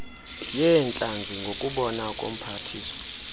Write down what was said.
yeentlanzi ngokubona komphathiswa